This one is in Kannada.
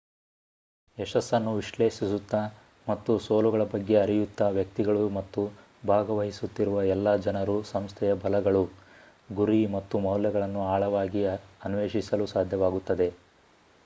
ಯಶಸ್ಸನ್ನು ವಿಶ್ಲೇಷಿಸುತ್ತ ಮತ್ತು ಸೋಲುಗಳ ಬಗ್ಗೆ ಅರಿಯುತ್ತಾ ವ್ಯಕ್ತಿಗಳು ಮತ್ತು ಭಾಗವಹಿಸುತ್ತಿರುವ ಎಲ್ಲಾ ಜನರು ಸಂಸ್ಥೆಯ ಬಲಗಳು ಗುರಿ ಮತ್ತು ಮೌಲ್ಯಗಳನ್ನು ಆಳವಾಗಿ ಅನ್ವೇಷಿಸಲು ಸಾಧ್ಯವಾಗುತ್ತದೆ